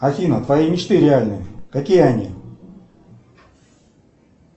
афина твои мечты реальны какие они